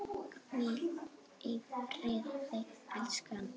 Hvíl í friði, elskan!